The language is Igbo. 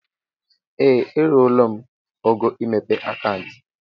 Ee! Eruola m ógo imepe akauntu.